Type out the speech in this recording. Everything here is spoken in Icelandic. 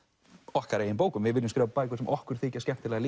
okkar eigin bókum við viljum skrifa bækur sem okkur þykja skemmtilegar